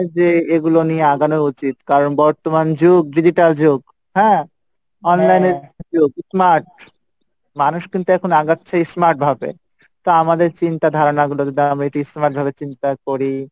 যে এগুলো নিয়ে আগানো উচিত কারণ বর্তমান যুগ digital যুগ, হ্যাঁ? online এর যুগ smart মানুষ কিন্তু এখন আগাচ্ছে smart ভাবে তা আমাদের চিন্তা ধারনা গুলো যদি আমরা একটু smart ভাবে চিন্তা করি,